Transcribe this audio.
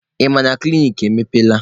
Ị ma na klinik emepeela?